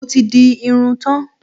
Mo ti di irun tán.